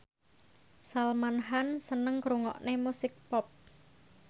Salman Khan seneng ngrungokne musik pop